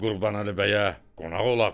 Qurbanəli bəyə qonaq olaq.